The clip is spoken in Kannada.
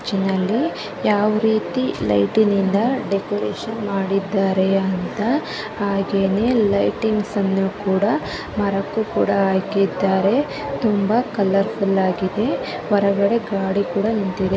ಚರ್ಚ್ ನಲಿ ಯಾವ ರೀತಿ ಲೈಟಿ ನಿಂದ ಡೆಕೋರೇಷನ್ ಮಾಡಿದರೆ ಅಂತ ಹಾಗೆ ನೇ ಲೈಟಿಂಗ್ಸ್ ಕೂಡ ಮರಕ್ಕೂ ಕೂಡ ಹಾಕಿದ್ದಾರೆ ತುಂಬಾ ಕಾಲೌರ್ಫುಲ್ ಆಗಿದೆ ಹೊರಗಡೆ ಗಾಡಿ ಕೂಡ ನಿಂತಿದೆ.